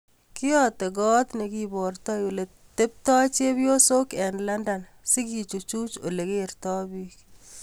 Kiyate Got negibartoi ole teptoi chepiosyok eng London sigechuchui ole kertoi bik